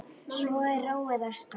Svo er róið af stað.